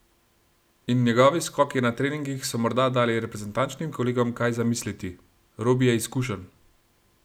In njegovi skoki na treningih so morda dali reprezentančnim kolegom kaj za misliti: "Robi je izkušen.